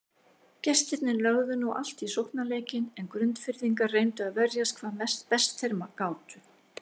Gestirnir lögðu nú allt í sóknarleikinn en Grundfirðingar reyndu að verjast hvað best þeir gátu.